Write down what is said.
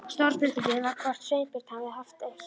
Stóra spurningin var hvort Sveinbjörn hefði haft eitt